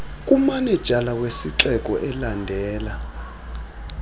kumanejala wesixeko elandela